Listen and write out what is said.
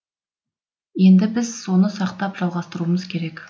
енді біз соны сақтап жалғастыруымыз керек